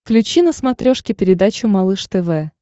включи на смотрешке передачу малыш тв